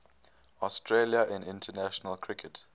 australia in international cricket